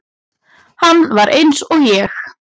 Hann var eins og ég.